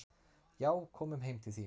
"""Já, komum heim til þín."""